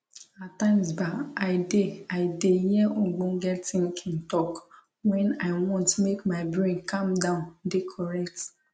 ah times bah i de i de hear ogbonge tinkin talk wen i want make my brain calm down dey correct